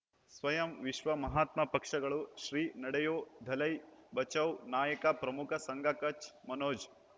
ಸ್ವಯಂ ವಿಶ್ವ ಮಹಾತ್ಮ ಪಕ್ಷಗಳು ಶ್ರೀ ನಡೆಯೂ ದಲೈ ಬಚೌ ನಾಯಕ ಪ್ರಮುಖ ಸಂಘ ಕಚ್ ಮನೋಜ್